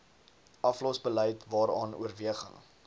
aflosbeleid waaraan oorweging